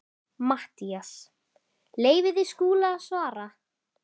MATTHÍAS: Leyfið þið Skúla að svara.